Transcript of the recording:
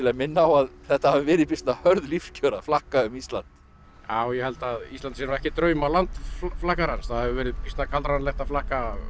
minna á að þetta hafi verið býsna hörð lífskjör að flakka um Ísland já ég held að Ísland sé nú ekki draumaland flakkarans það hefur verið býsna kaldranalegt að flakka